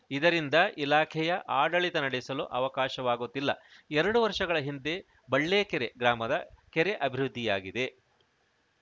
ಇದರಿಂದ ಇಲಾಖೆಯ ಆಡಳಿತ ನಡೆಸಲು ಅವಕಾಶವಾಗುತ್ತಿಲ್ಲ ಎರಡು ವರ್ಷಗಳ ಹಿಂದೆ ಬಳ್ಳೇಕೆರೆ ಗ್ರಾಮದ ಕೆರೆ ಅಭಿವೃದ್ಧಿಯಾಗಿದೆ